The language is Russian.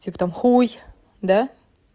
типа там хуй да